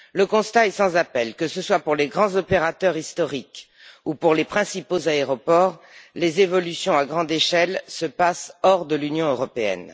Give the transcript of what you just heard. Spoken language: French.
Le constat est sans appel, que ce soit pour les grands opérateurs historiques ou les principaux aéroports, les évolutions à grande échelle se passent hors de l'Union européenne.